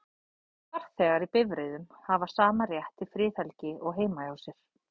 Farþegar í bifreiðum hafa sama rétt til friðhelgi og heima hjá sér.